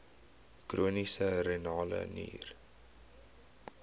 chroniese renale nier